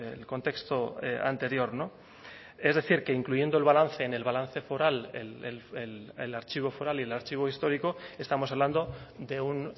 el contexto anterior es decir que incluyendo el balance en el balance foral el archivo foral y el archivo histórico estamos hablando de un